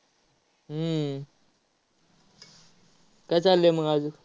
हम्म काय चाललंय मग अजून?